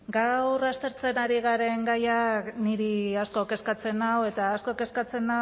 gaur aztertzen ari garen gaiak niri asko kezkatzen nau eta asko kezkatzen